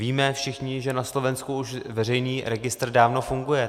Víme všichni, že na Slovensku už veřejný registr dávno funguje.